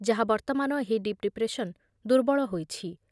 ଯାହା ବର୍ତ୍ତମାନ ଏହି ଡିପ୍ ଡିପ୍ରେସନ୍ ଦୁର୍ବଳ ହୋଇଛି ।